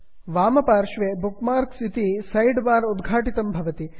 वामपार्श्वे bookmarks bookmarks इति sidebar उद्घाटितं भवति